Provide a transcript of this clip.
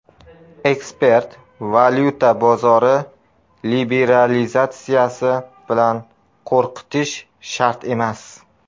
Ekspert: Valyuta bozori liberalizatsiyasi bilan qo‘rqitish shart emas.